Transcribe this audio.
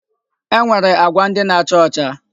E nwere agwa ndị na-acha ọcha.